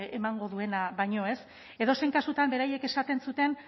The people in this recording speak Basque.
emango duena baino edozein kasutan beraiek esaten zuten